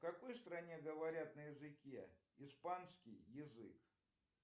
в какой стране говорят на языке испанский язык